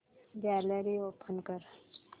gallery open कर